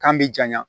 K'an bɛ janya